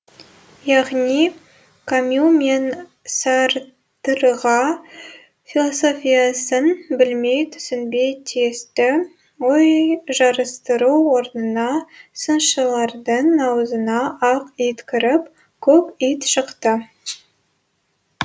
яғни камю мен сартрға философиясын білмей түсінбей тиісті ой жарыстыру орнына сыншылардың аузына ақ ит кіріп көк ит шықты